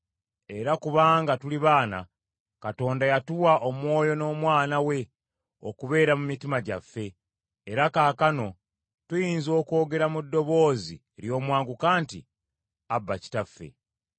Era kubanga tuli baana, Katonda yatuma Omwoyo w’Omwana we okubeera mu mitima gyaffe, era kaakano tuyinza okwogera mu ddoboozi ery’omwanguka nti, “ Aba, Kitaffe.”